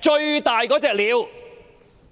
最大的"鳥"。